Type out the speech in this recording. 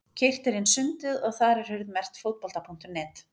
Keyrt er inn sundið og þar er hurð merkt Fótbolta.net.